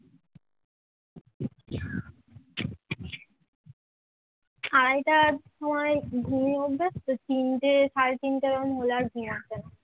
আড়াই টার সময় ঘুমিয়ে অভ্যেস তো তিনটে সাড়ে তিনটে এরকম হলে আমার আর ঘুম আসে না